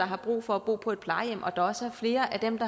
har brug for at bo på plejehjem og der også er flere af dem